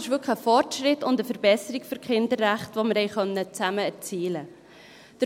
Das ist wirklich ein Fortschritt und eine Verbesserung für die Kinderrechte, die wir zusammen erzielen konnten.